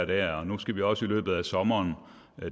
der og at nu skal vi også i løbet af sommeren